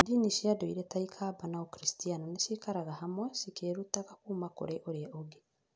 Ndini cia ndũire ta Aikamba na Ũkristiano nĩ cikaraga hamwe, cikĩĩrutaga kuuma kũrĩ ũria ũngĩ.